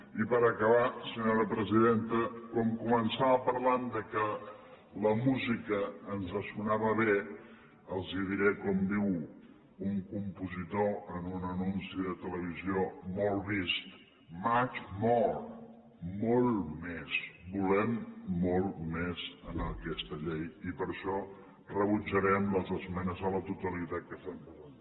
i per acabar senyora presidenta com que començava parlant que la música ens sonava bé els diré com diu un compositor en un anunci de televisió molt vist much more molt més volem molt més en aquesta llei i per això rebutjarem les esmenes a la totalitat que s’han presentat